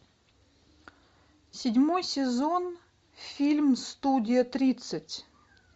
седьмой сезон фильм студия тридцать